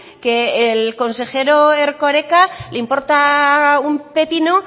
que al consejero erkoreka le importa un pepino